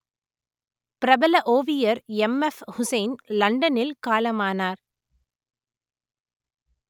பிரபல ஓவியர் எம்எப்ஹுசைன் லண்டனில் காலமானார்